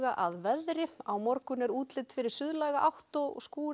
að veðri á morgun er útlit fyrir átt og